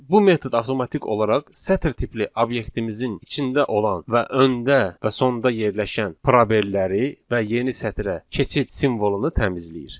Bu metod avtomatik olaraq sətir tipli obyektimizin içində olan və öndə və sonda yerləşən probelləri və yeni sətrə keçid simvolunu təmizləyir.